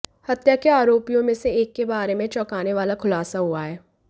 हत्या के आरोपियों में से एक के बारे में चौंकाने वाला खुलासा हुआ है